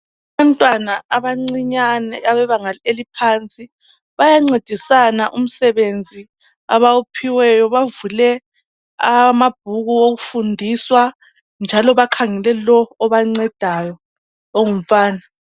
Umntwana abancinyane abebebanga elaphansi bayancedisana umsebenzi abawuphiweyo bavule amabhuku okufundiswa njalo bakhangele lo obancedayo ongumfana.